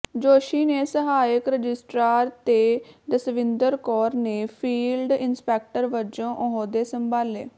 ਜੋਸ਼ੀ ਨੇ ਸਹਾਇਕ ਰਜਿਸਟਰਾਰ ਤੇ ਜਸਵਿੰਦਰ ਕੌਰ ਨੇ ਫੀਲਡ ਇਸਪੈਕਟਰ ਵਜੋ ਅਹੁੱਦੇ ਸੰਭਾਲੇ